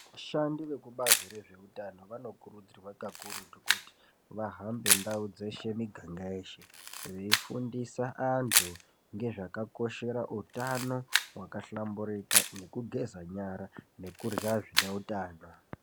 Vashandi vekubazi rezveutano vanokurudzirwa kakurutu kuti vahambe ndau dzeshe miganga yeshe veifundisa vantu nezvakakoshere utano hwakahlamburika nekugeza nyara nekurya zvineutano.